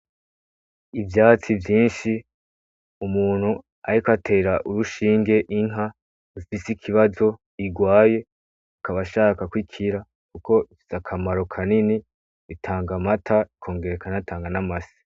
Ivyatsi vyinshi umuntu ahiko atera urushinge inka ufise ikibazo igwaye ukabashakako ikira, kuko ifitsa akamaro kanini ritanga amata ikongera kanatanga n'amasi.